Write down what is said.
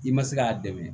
I ma se k'a dɛmɛ